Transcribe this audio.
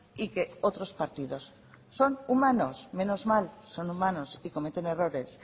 y que otros partidos son humanos menos mal son humanos y cometen errores